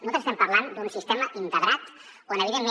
nosaltres estem parlant d’un sistema integrat on evidentment